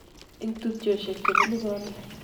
Eng' tupchoshiek chebunu Korea?